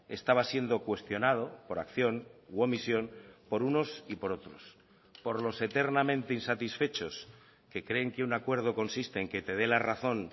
estaba siendo cuestionado por acción u omisión por unos y por otros por los eternamente insatisfechos que creen que un acuerdo consiste en que te dé la razón